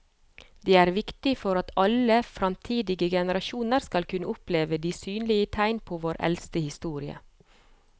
Det er viktig for at alle fremtidige generasjoner skal kunne oppleve de synlige tegn på vår eldste historie.